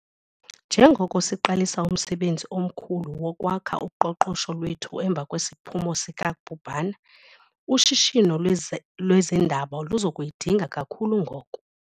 Njengoko siqalisa umsebenzi omkhulu wokwakha uqoqosho lwethu emva kwesiphumo sikabhubhane, ushishino lwezeendaba luza kuyidinga kakhulu ngoku.